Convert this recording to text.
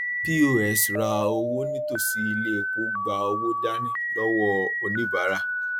pos ra owó nítòsí ilé epo gba owó dání lọwọ oníbàárà